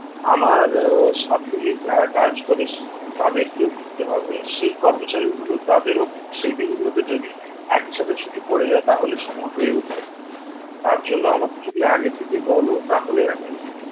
আমার আহ সাথেই যারা কাজ করে তাদেরকেও দিতে হবে সেই কর্মচারীগুলো তাদেরও সেই দিনগুলোতে যদি একই সাথে ছুটি পড়ে যায় তাহলে সময় হয়ে উঠবে না, তার জন্য আমাকে যদি আগে থেকে বল তাহলে আমি